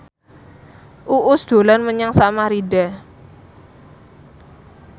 Uus dolan menyang Samarinda